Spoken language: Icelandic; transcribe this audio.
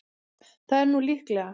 Það er nú líklega.